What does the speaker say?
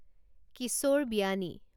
Kishore Biyani